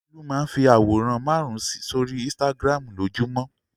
Olú máa ń fi àwòrán márùn-ún sórí Instagram lójúmọ́.